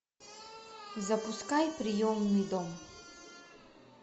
запускай приемный дом